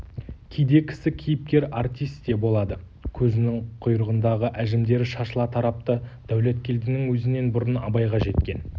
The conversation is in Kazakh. кейде кісі кейіпкер артис те болады көзінің құйрығындағы әжімдері шашыла тарапты дәулеткелдінің өзінен бұрын абайға жеткен